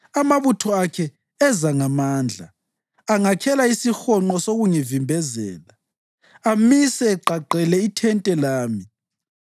Amabutho akhe eza ngamandla; angakhela isihonqo sokungivimbezela amise egqagqele ithente lami.